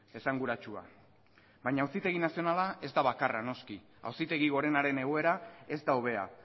esanguratsua baina auzitegi nazionala ez da bakarra noski auzitegi gorenaren egoera ez da hobea